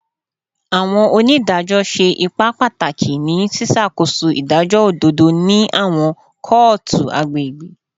Awọn onidajọ ṣe ipa pataki ni ṣiṣakoso idajọ ododo ni awọn kootu agbegbe